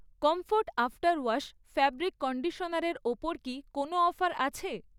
Comfort after wash fabric কন্ডিশনারের ওপর কি কোনও অফার আছে?